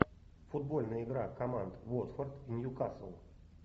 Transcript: футбольная игра команд уотфорд ньюкасл